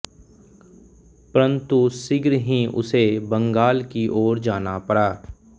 परंतु शीघ्र ही उसे बंगाल की ओर जाना पड़ा